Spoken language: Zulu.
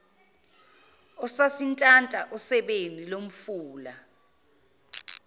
esasintanta osebeni lomfula